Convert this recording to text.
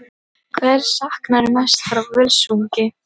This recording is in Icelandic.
Hvers saknarðu mest frá Völsungi?